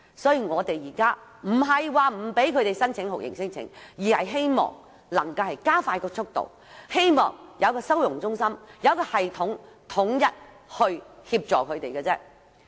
所以我們現在不是不讓他們申請酷刑聲請，而是希望加快速度審理聲請申請，並希望成立收容中心有系統地為他們提供統一協助。